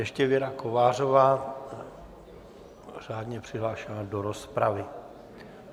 Ještě Věra Kovářová, řádně přihlášená do rozpravy.